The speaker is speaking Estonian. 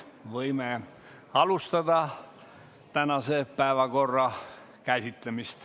Võime alustada tänase päevakorra käsitlemist.